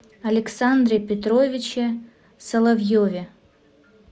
александре петровиче соловьеве